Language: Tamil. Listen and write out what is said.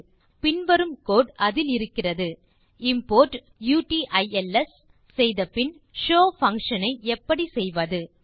மேலும் பின் வரும் கோடு அதில் இருக்கிறதுimport யூட்டில்ஸ் செய்த பின் ஷோவ் பங்ஷன் ஐ எப்படி செய்வது